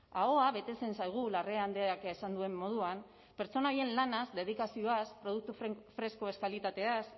ahoa betetzen zaigu larrea andreak esan duen moduan pertsona horien lanaz dedikazioaz produktu freskoez kalitateaz